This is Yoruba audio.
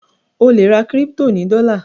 o le rà crypto ní dola